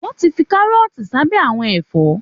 Wọ́n ti fi kárọ́ọ̀tì sábẹ́ àwọn ẹ̀fọ́